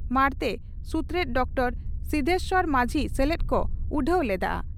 ᱢᱟᱬᱛᱮ ᱥᱩᱛᱨᱮᱛ ᱰᱨᱹ ᱥᱤᱫᱷᱮᱥᱚᱨ ᱢᱟᱹᱡᱷᱤ ᱥᱮᱞᱮᱫ ᱠᱚ ᱩᱰᱷᱟᱹᱣ ᱞᱮᱫᱼᱟ ᱾